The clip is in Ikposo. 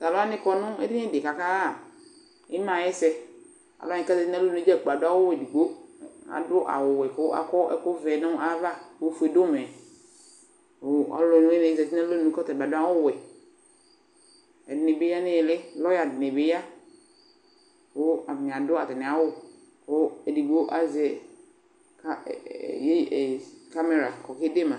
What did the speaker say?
Tʋ alʋ wanɩ kɔ nʋ edini dɩ kʋ akaɣa ɩma yɛ ɛsɛ Alʋ wanɩ kʋ azati nʋ alɔnu dza kplo adʋ awʋ edigbo Adʋ awʋwɛ kʋ akɔ ɛkʋvɛ nʋ ayava kʋ ofue dʋ ʋmɛ Kʋ ɔlʋwɩnɩ dɩ zati nʋ alɔnu kʋ ɔta bɩ adʋ awʋwɛ Ɛdɩnɩ bɩ ya nʋ ɩɩlɩ Lɔya dɩnɩ bɩ ya kʋ atanɩ adʋ atamɩ awʋ kʋ edigbo azɛ ka ɛ iye kamera kʋ ɔkede ma